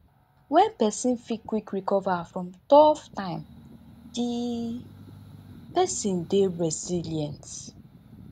when person fit quick recover from tough time di person dey resilient